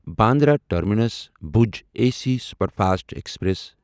Bandra terminus Bhuj A C superfast express